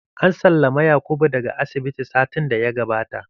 An sallamu Yakubu da ga asibiti satin da ya gabata